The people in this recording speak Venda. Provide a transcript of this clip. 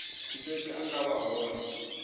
tshipembe a nga vha hone